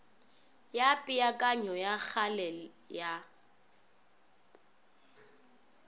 ya peakanyo ya kgale ya